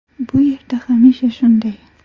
Bu yerda hamisha shunday.